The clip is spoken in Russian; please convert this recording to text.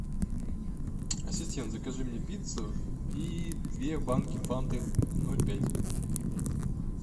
ассистент закажи мне пиццу и две банки фанты ноль пять